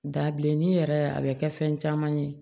Dabilennin yɛrɛ a bɛ kɛ fɛn caman ye